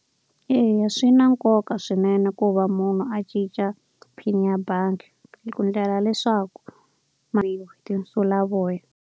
Eya swi na nkoka swinene ku va munhu a cinca PIN ya bangi. Ku endlela leswaku tinsulavoya.